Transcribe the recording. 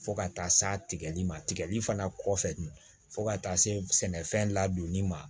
Fo ka taa se tigɛli ma tigɛli fana kɔfɛ fo ka taa se sɛnɛfɛn ladonni ma